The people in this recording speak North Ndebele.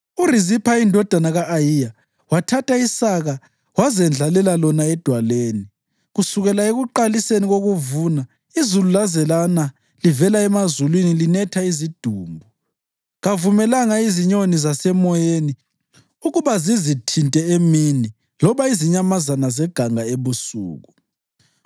URizipha indodakazi ka-Ayiya wathatha isaka wazendlalela lona edwaleni. Kusukela ekuqaliseni kokuvuna izulu laze lana livela emazulwini linetha izidumbu, kavumelanga izinyoni zasemoyeni ukuba zizithinte emini loba izinyamazana zeganga ebusuku.